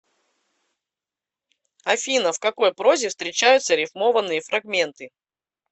афина в какой прозе встречаются рифмованные фрагменты